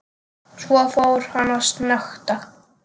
Svo fór hann að snökta.